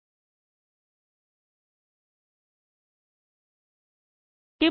ਇਕ ਟੇਬਲ ਵਿੱਚ ਡੇਟਾ ਸ਼ਾਮਲ ਕਰਨਾ 2